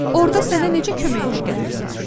"Orda sənə necə kömək edə bilərdim ki?"